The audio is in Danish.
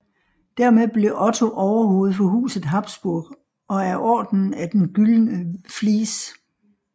Dermed blev Otto overhoved for huset Habsburg og af Ordenen af den gyldne Vlies